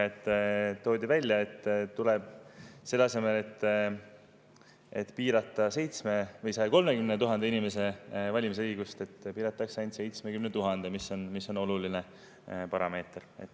Toodi välja, et selle asemel, et piirata 130 000 inimese valimisõigust, piiratakse seda ainult 70 000-l, mis on oluline parameeter.